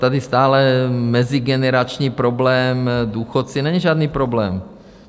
Tady stále mezigenerační problém, důchodci - není žádný problém.